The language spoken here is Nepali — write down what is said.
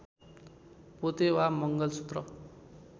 पोते वा मङ्गलसूत्र